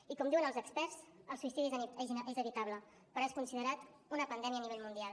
i com diuen els experts el suïcidi és evitable però és considerat una pandèmia a nivell mundial